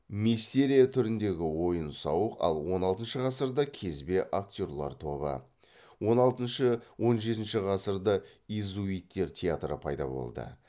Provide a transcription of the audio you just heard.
мистерия түріндегі ойын сауық ал он алтыншы ғасырда кезбе актерлар тобы он алтыншы он жетінші ғасырда иезуиттер театры пайда болды